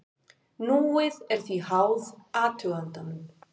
Núið er því háð athugandanum.